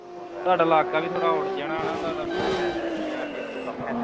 ਤੁਹਾਡਾ ਇਲਾਕਾ ਵੀ ਥੋੜਾ out ਜਿਹਾ ਨਾ ਹਣਾ ਤੁਹਾਡਾ ਮਤਲਬ side ਜੀ ਤੇ ਆ ਨਾ ਕੰਮ